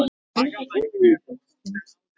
Þinn sonur, Yngvi Þór.